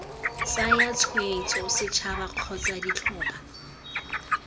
tsaya tshwetso setšhaba kgotsa ditlhopha